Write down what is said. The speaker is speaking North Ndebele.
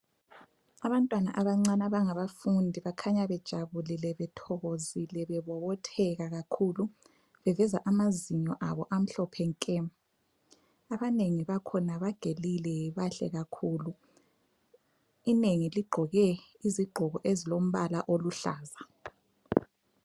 Abantwana abancane abangabafundi bakhanya bejabulile, bethokozile bebobotheka kakhulu, beveza amazinyo abo amhlophe nke. Abanengi bakhona bagelile bahle kakhulu. Inengi ligqoke izigqoko ezilombala oluhlaza.